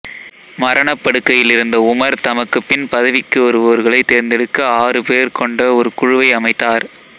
மரணப் படுக்கையில் இருந்த உமர் தமக்குப் பின் பதவிக்கு வருவோர்களை தேர்ந்தெடுக்க ஆறு பேர் கொண்ட ஒரு குழுவை அமைத்தார்